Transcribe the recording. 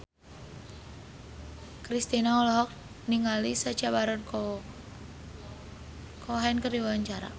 Kristina olohok ningali Sacha Baron Cohen keur diwawancara